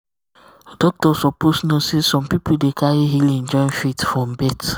doctor suppose know say some people dey carry healing join faith from birth.